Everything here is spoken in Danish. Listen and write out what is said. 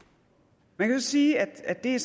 man kan så sige at det